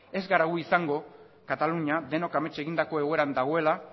ez gara gu izango katalunia denok amets egindako egoeran dagoela